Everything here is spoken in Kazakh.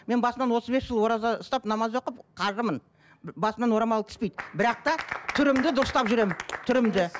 мен басынан отыз бес жыл ораза ұстап намаз оқып қажымын басымнан орамал түспейді бірақ та түрімді дұрыстап жүремін түрімді